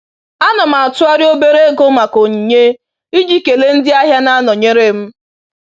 Ana m atụgharị obere ego maka onyinye iji kele ndị ahịa na-nọnyeere m